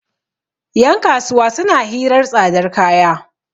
yankasuwa suna hirar tsadar kaya